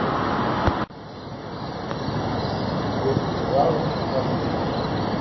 русский сериал с охлобыстиным